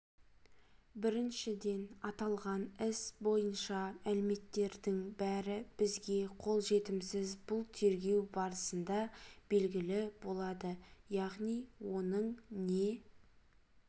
біріншіден аталған іс бойынша мәліметтердің бәрі бізге қолжетімсіз бұл тергеу барысында белгілі болады яғни оның не